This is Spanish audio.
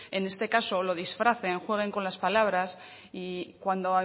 en este caso lo disfracen jueguen con las palabras y cuando